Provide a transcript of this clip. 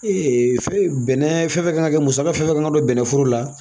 fɛn bɛnɛ fɛn fɛn kan ka kɛ musaka fɛn fɛn kan ka don bɛnɛforo la